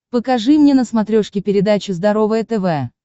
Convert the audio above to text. покажи мне на смотрешке передачу здоровое тв